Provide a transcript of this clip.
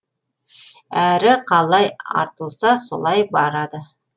әрі қалай артылса солай барады